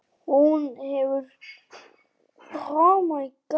Hún hafi síðan komist undan.